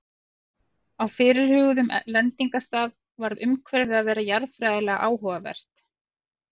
Á fyrirhuguðum lendingarstað varð umhverfið að vera jarðfræðilega áhugavert.